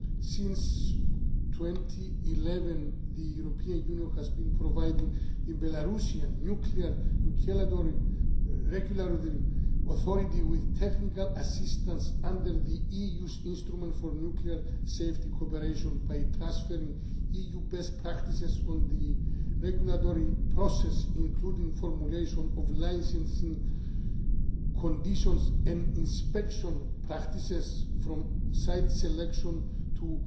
Since 2011, the European Union has been providing the Belarusian nuclear regulatory authority with technical assistance under the EU's Instrument for Nuclear Safety cooperation by transferring EU best practices on the regulatory process, including formulation of licensing conditions and inspection practices, from site selection to